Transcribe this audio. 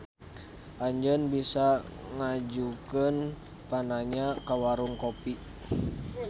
Anjeun bisa ngajukeun pananya ka Warung Kopi.